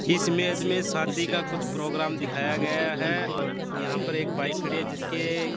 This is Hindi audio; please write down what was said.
इस इमेज में शादी का कुछ प्रोग्राम दिखाया गया है और यहा पर एक बाइक खड़ी है जिसके--